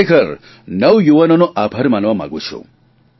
હું ખરેખર નવયુવાનોનો આભાર માનવા માંગું છું